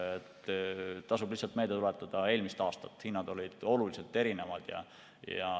Tasub meelde tuletada eelmist aastat, kui hinnad olid oluliselt erinevad.